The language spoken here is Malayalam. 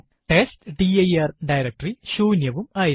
ടെസ്റ്റ്ഡിർ ഡയറക്ടറി ശൂന്യവും ആയിരുന്നു